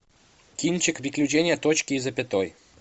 кинчик приключения точки и запятой